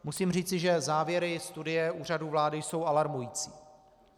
Musím říci, že závěry studie Úřadu vlády jsou alarmující.